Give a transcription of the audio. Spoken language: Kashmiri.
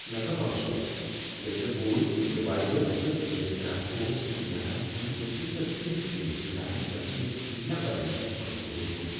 مےٚ گوٚو افسوس ییٚلہ مےٚ بوٗز زِ واییجر زٕ سپیس کرافٹ اوس اینٹینا ہس منٛز زٕ فیصد شفٹ کِنہِ نظام شمسی نیبر ہمیشہٕ خٲطرٕ روومت